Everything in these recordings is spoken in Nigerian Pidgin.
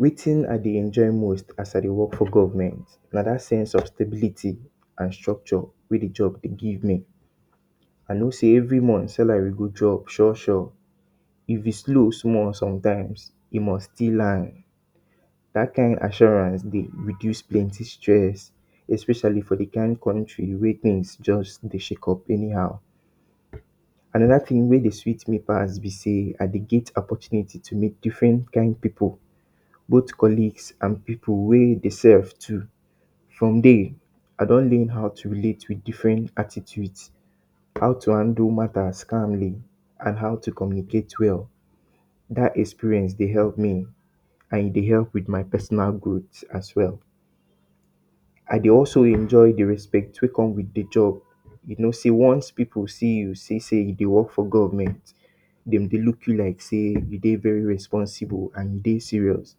Wetin I dey enjoy most as I dey work for government na that same sustainability and structure wey de job de give me. I no sey every month salary go drop sur sure, if e slow small sometimes, e must still land that kind assurance de reduce plenty stress especially for de kind country wey things just de shake up anyhow. Another thing wey de sweet me pass be sey, I de get opportunity to met different type of pipu both colleagues and pipu wey dey serve too from there, I don learn how to relate with attitude how to handle matters calmly, and how to communicate well, that experience de help me and e de help with my personal growth as well. I dey also enjoy de respect wey come with de job, you no sey once pipu see you sey you de work for government dem dey look you like sey you de very responsible you dey serious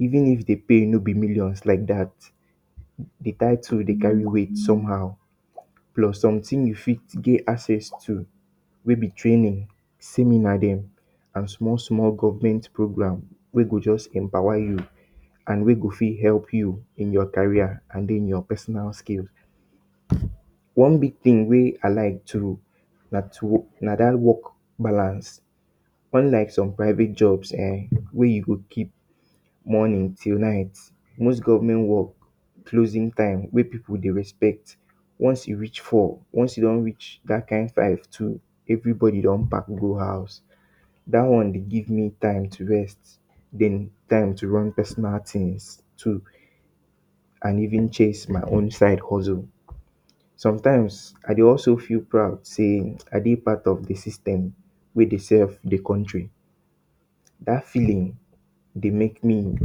even if de pay no be millions like dat de tittle de carry weight somehow plus somethings you fit get access to wey be training, seminar dem and small small government program wey go just empower you and Wey go fit help you in your carrier and den your personal skills. One big thing wey I like most na dat work balance unlike some private job[um]wey you go keep morning till night most government work closing time wey pipu dey respect once e reach 4 once e reach that kind 5 too everybody go don go house that one de give me time to rest then time to learn personal things too and even chase my side hustle. Sometimes I de also feel pride sey I dey part of the system wey de serve de country that feelings de make me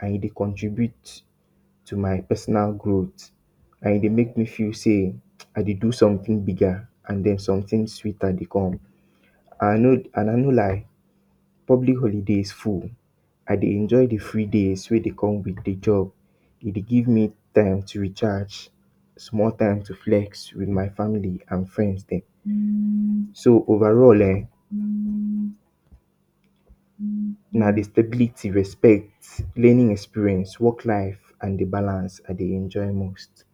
and e de contribute to my personal growth and de make me feel sey I de do something bigger and then something sweeter de come and I no go lie public holiday full I dey enjoy de free days wey dey come with de job e dey give me time to recharge and more time to flex with my family and my friends dem. So overall[um]the stability, respect, plian experience worklife and de work balance I dey enjoy most